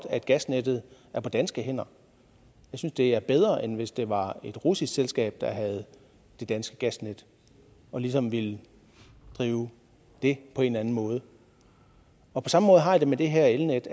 at gasnettet er på danske hænder jeg synes det er bedre end hvis det var et russisk selskab der ejede det danske gasnet og ligesom ville drive det på en anden måde på samme måde har jeg det med det her elnet